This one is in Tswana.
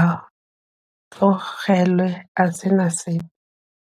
a tlogelwe a se na sepe.